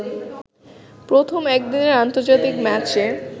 প্রথম একদিনের আন্তর্জাতিক ম্যাচে